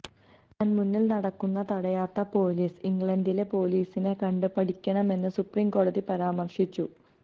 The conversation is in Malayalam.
കൺമുന്നിൽ നടക്കുന്നത് തടയാത്ത പൊലീസ് ഇംഗ്ലണ്ടിലെ പൊലീസിനെ കണ്ട് പഠിക്കണമെന്ന് സുപ്രീംകോടതി പരാമർശിച്ചു